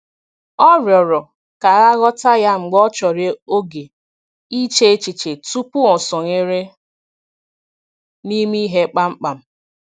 Ọ rịọ̀rò ka a ghọta ya mgbe ọ chọrọ oge iche echiche tupu o sonyere n’ime ihe kpamkpam.